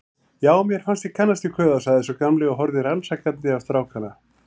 Já, mér fannst ég kannast við kauða sagði sá gamli og horfði rannsakandi á strákana.